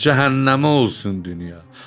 Cəhənnəmə olsun dünya!